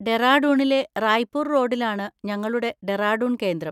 ഡെറാഡൂണിലെ റായ്പൂർ റോഡിലാണ് ഞങ്ങളുടെ ഡെറാഡൂൺ കേന്ദ്രം.